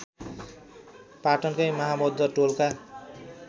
पाटनकै महाबौद्ध टोलका